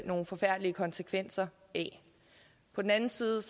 nogle forfærdelige konsekvenser af på den anden side